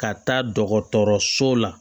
Ka taa dɔgɔtɔrɔso la